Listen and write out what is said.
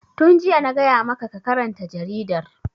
Tun jiya na gaya ma ka karanta jaridar!